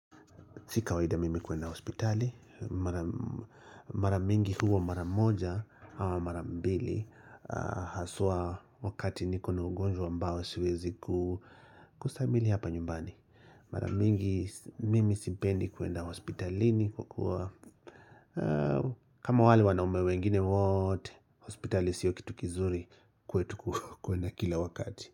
Si kawaida mimi kuenda hospitali, maramingi huwa maramoja ama marambili haswa wakati niko na ugonjwa ambao siwezi kustahimili hapa nyumbani. Maramingi mimi sipendi kuenda hospitalini kwa kuwa. Kama wale wanaume wengine wote, hospitali sio kitu kizuri kwetu kuenda kila wakati.